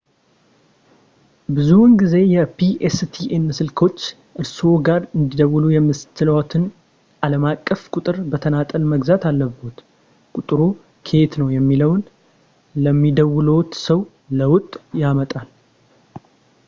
ብዙውን ጊዜ የ pstn ስልኮች እርስዎ ጋር እንዲደውሉ የሚያስችልዎትን ዓለም አቀፍ ቁጥር በተናጠል መግዛት አለብዎት ቁጥሩ ከየት ነው የሚለውን ለሚደውሉዎት ሰው ለውጥ ያመጣል